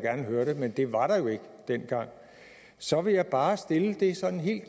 gerne høre det men det var der jo ikke dengang så vil jeg bare stille det sådan helt